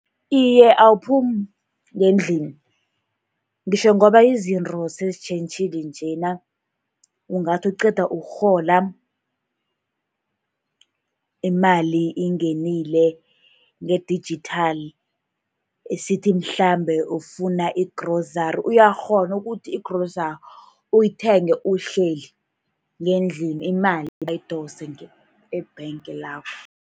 Iye, awuphumi ngendlini. Ngitjho ngoba izinto sezitjhentjhile njena, ungathi uqeda ukurhola, imali ingenile nge-digital, esithi mhlambe ufuna i-grocery, uyakghona ukuthi i-grocery uyithenge uhleli ngendlini, imali bayidose e-bank lakho.